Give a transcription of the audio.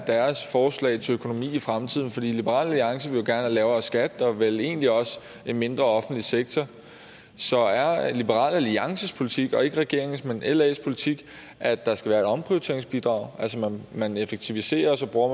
las forslag til økonomi i fremtiden fordi liberal alliance vil jo gerne have lavere skat og vel egentlig også en mindre offentlig sektor så er liberal alliances politik ikke regeringens men las politik at der skal være et omprioriteringsbidrag altså at man effektiviserer og så bruger